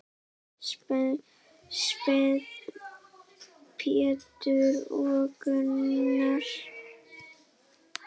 Sveinn, Pétur og Gunnar.